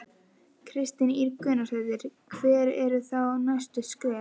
Kristín Ýr Gunnarsdóttir: Hver eru þá næstu skref?